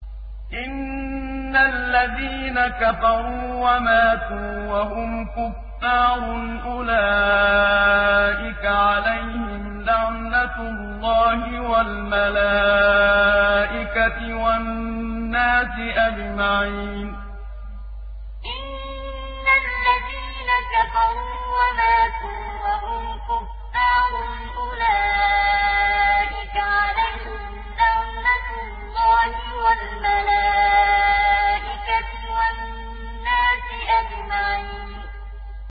إِنَّ الَّذِينَ كَفَرُوا وَمَاتُوا وَهُمْ كُفَّارٌ أُولَٰئِكَ عَلَيْهِمْ لَعْنَةُ اللَّهِ وَالْمَلَائِكَةِ وَالنَّاسِ أَجْمَعِينَ إِنَّ الَّذِينَ كَفَرُوا وَمَاتُوا وَهُمْ كُفَّارٌ أُولَٰئِكَ عَلَيْهِمْ لَعْنَةُ اللَّهِ وَالْمَلَائِكَةِ وَالنَّاسِ أَجْمَعِينَ